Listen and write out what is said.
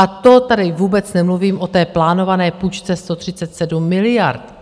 A to tady vůbec nemluvím o té plánované půjčce 137 miliard,